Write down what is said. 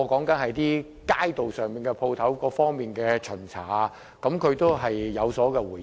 這些都與街道店鋪方面的巡查有關，她都有回應。